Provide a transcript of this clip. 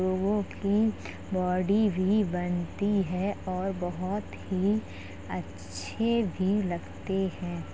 लोगों की बॉडी भी बनती है और बहोत ही अच्छे भी लगते हैं।